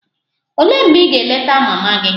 Olee mgbe ị ga-eleta mama gị?